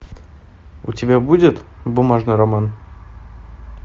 у тебя будет бумажный роман